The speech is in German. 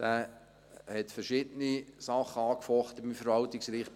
Dieser hat verschiedene Sachen angefochten beim Verwaltungsgericht;